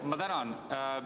Ma tänan!